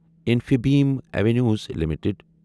Infibeam Avenues limited